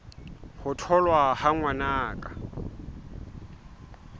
ho tholwa ha ngwana ka